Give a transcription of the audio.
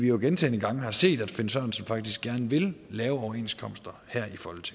jo gentagne gange set at herre finn sørensen faktisk gerne vil lave overenskomster her